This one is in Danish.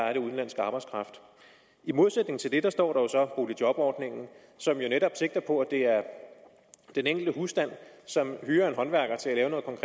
af udenlandsk arbejdskraft i modsætning til det står så boligjobordningen som netop sigter på at det er den enkelte husstand som hyrer en håndværker til